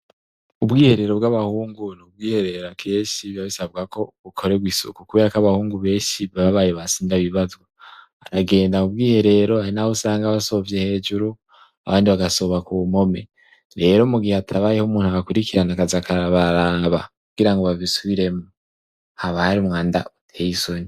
Ubwiherero bw'abahungu ni ubwiherera kenshi biba bisabwa ko bukoregwa isuku kubera ko abahungu benshi bababaye ba sindabibazwa aragenda ubwiherero hari naho usanga basovye hejuru abandi basovye ku mpome rero mu gihe hatabayeho umuntu abakurikirana akaza arabaraba kugira ngo babisubire haba hari umwanda uteyesoni